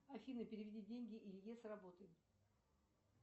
афина переведи деньги илье с работы